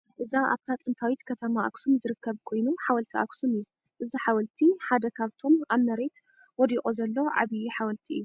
እዚ ኣብታ ጥንታዊት ከተማ ኣክሱም ዝርከብ ኮይኑ ሓወልቲ ኣክሱም እዩ። እዚ ሓወልቲ ሓደ ካብቶም ኣብ መሬት ወዲቁ ዘሎ ዓብይ ሓወልቲ እዩ።